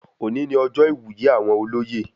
Òní ní ọjọ iwuye àwọn olóyè